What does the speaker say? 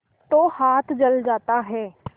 तो हाथ जल जाता है